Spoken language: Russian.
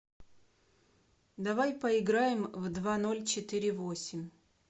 давай поиграем в два ноль четыре восемь